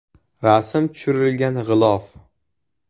Rasm tushirilgan g‘ilof.